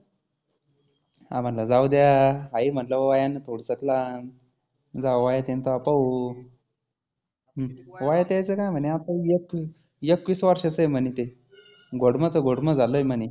आरं म्हटलं जाऊद्या. आहे म्हटलं वयानी थोडसक लहान. जवा वयात येईल तव्हा पाहू. हम्म वयात यायचं काय आहे म्हणी आता एकवी एकवीस वर्षाचं आहे म्हणी ते. घोडमचं घोडमं झालं ते. आहे म्हणे